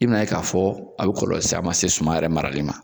I bina ye k'a fɔ a bi kɔlɔlɔ caman lase suman yɛrɛ marali ma.